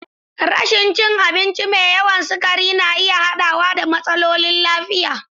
Rashin rashin cin abinci mai yawan sukari na iya haɗawa da matsalolin lafiya.